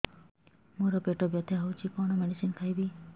ମୋର ପେଟ ବ୍ୟଥା ହଉଚି କଣ ମେଡିସିନ ଖାଇବି